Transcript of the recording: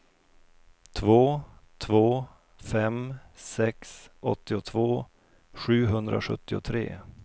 två två fem sex åttiotvå sjuhundrasjuttiotre